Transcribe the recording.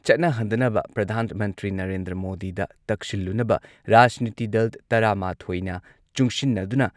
ꯆꯠꯅꯍꯟꯗꯅꯕ ꯄ꯭ꯔꯙꯥꯟ ꯃꯟꯇ꯭ꯔꯤ ꯅꯔꯦꯟꯗ꯭ꯔ ꯃꯣꯗꯤꯗ ꯇꯛꯁꯤꯜꯂꯨꯅꯕ ꯔꯥꯖꯅꯤꯇꯤ ꯗꯜ ꯇꯔꯥꯃꯥꯊꯣꯏꯅ ꯆꯨꯡꯁꯤꯟꯅꯗꯨꯅ